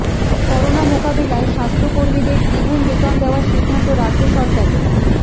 corona মোকাবিলায় স্বাস্থ্যকর্মীদের দ্বিগুন বেতন দেওয়ার সিদ্ধান্ত রাজ্য সরকারের